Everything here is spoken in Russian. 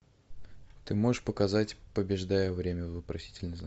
ты можешь показать побеждая время вопросительный знак